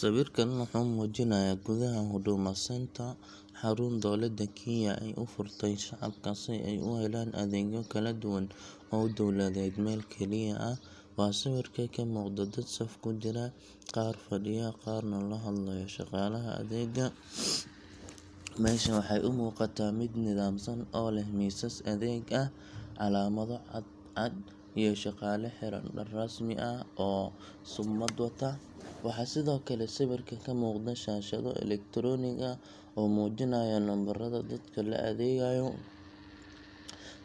Sawirkan wuxuu muujinayaa gudaha Huduma Centre xarun dowladda Kenya ay u furtay shacabka si ay u helaan adeegyo kala duwan oo dowladeed meel keliya ah. Waxa sawirka ka muuqda dad saf ku jira, qaar fadhiya, qaarna la hadlayo shaqaalaha adeegga. Meesha waxay u muuqataa mid nidaamsan oo leh miisas adeeg ah, calaamado cad cad, iyo shaqaale xiran dhar rasmi ah oo summad wata. Waxaa sidoo kale sawirka ka muuqda shaashado elektaroonik ah oo muujinaya nambarrada dadka la adeegayo,